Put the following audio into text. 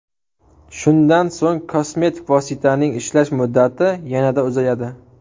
Shundan so‘ng kosmetik vositaning ishlash muddati yanada uzayadi.